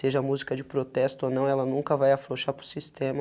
Seja música de protesto ou não, ela nunca vai afrouxar para o sistema.